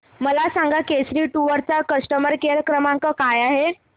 मला सांगा केसरी टूअर्स चा कस्टमर केअर क्रमांक काय आहे